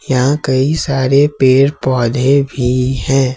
यहां कई सारे पेड़ पौधे भी हैं।